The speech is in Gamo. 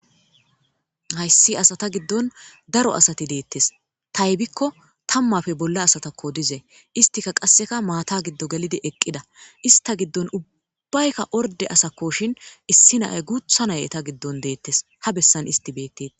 hayssi asata giddon daro asati deettes taybikko tammafe bolla asatakko dizey istika qasseka maata giddo gelidi eqqida ista giddon ubbaykka orde asakkoshin issi naay guutha nay eta giddon deettes ha bessan isti beettetes